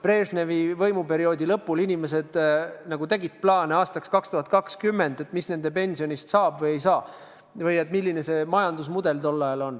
Kas sel ajal, Brežnevi võimuperioodi lõpul tegid inimesed plaane aastaks 2020, et mis nende pensionist saab või ei saa või et milline see majandusmudel on?